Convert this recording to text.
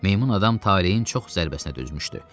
Meymun adam talehin çox zərbəsinə dözmüşdü.